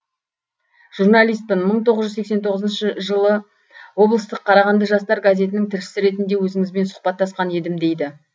журналистпін мың тоғыз жүз сексен тоғызыншы жылы облыстық қарағанды жастары газетінің тілшісі ретінде өзіңізбен сұхбаттасқан едім дейді